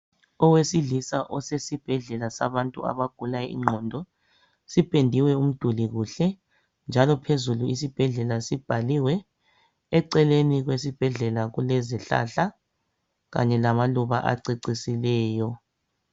Owesilisa osesibhedlela sabantu abagula ingqondo, sipendiwe umduli kuhle, njalo phezulu isibhedlela sibhaliwe. Eceleni kwesibhedlela kulezihlahla kanye lamaluba acecisileyo.